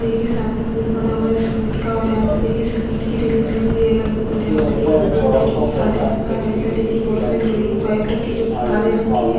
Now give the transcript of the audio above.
देखिये सामने पूल बना हुआ है सीलमिट का और यहाँ पे देखिये सीलमिट की रेलिंग लगी हुई है अगल-बगल यहाँ पे देखिये बोर्ड है जो कि काले रंग का है इधर देखिये बहोत सारे लोहै की पाइप रखी है जो कि काले रंग की है।